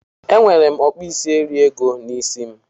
Enwere m okpuisieriego n'isi m